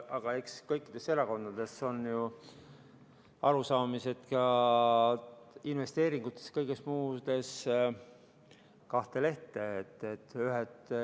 Aga eks kõikides erakondades lähe ju arusaamad investeeringutest ja kõigest muust kahte lehte.